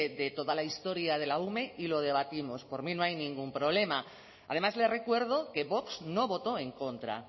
de toda la historia de la ume y lo debatimos por mí no hay ningún problema además le recuerdo que vox no votó en contra